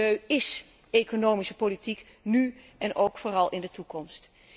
Milieu ís economische politiek, nu en vooral ook in de toekomst.